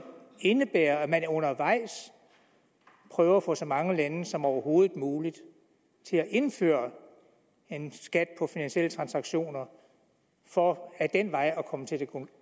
indebære at man undervejs prøver at få så mange lande som overhovedet muligt til at indføre en skat på finansielle transaktioner for ad den vej at komme til det